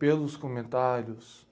Pelos comentários